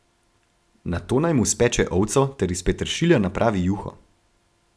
Nato naj mu speče ovco ter iz peteršilja napravi juho.